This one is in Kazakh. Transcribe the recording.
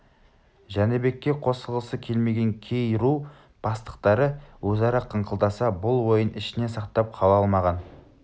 жәнібекке қосылғысы келмеген кей ру бастықтары өзара қыңқылдаса бұл ойын ішіне сақтап қала алмаған